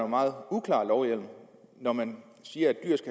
meget uklar lovhjemmel når man siger